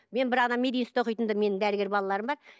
мен бір ана мединститутта оқитын менің дәрігер балаларым бар